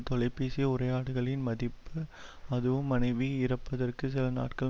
தொலைப்பேசி உரையாடல்களின் மதிப்பு அதுவும் மனைவி இறப்பதற்குச் சில நாட்கள்